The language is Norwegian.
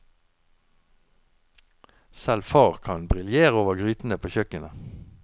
Selv far kan briljere over grytene på kjøkkenet.